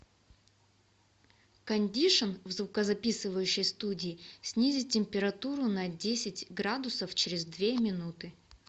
кондишн в звукозаписывающей студии снизить температуру на десять градусов через две минуты